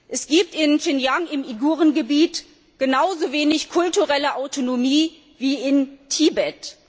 Es gibt in Xinjiang, im Uiguren Gebiet, genauso wenig kulturelle Autonomie wie in Tibet.